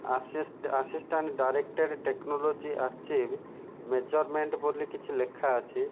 ଆସି assistant director technology achieve measurement ବୋଲି କିଛି ଲେଖା ଅଛି।